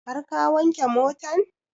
Har ka wanke motan?